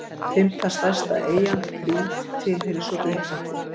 Fimmta stærsta eyjan, Krít, tilheyrir svo Grikklandi.